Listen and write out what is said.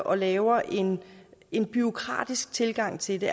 og laver en en bureaukratisk tilgang til det